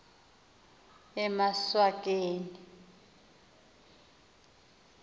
emaswakeni